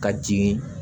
Ka jigin